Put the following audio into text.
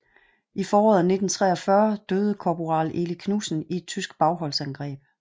I foråret 1943 døde korporal Eli Knudsen i et tysk bagholdsangreb